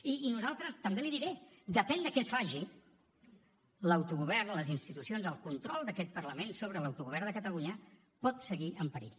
i nosaltres també l’hi diré depèn de què es faci l’autogovern les institucions el control d’aquest parlament sobre l’autogovern de catalunya pot seguir en perill